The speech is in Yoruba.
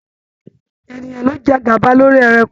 Ènìyàn ló jẹ gaba lórí ẹranko.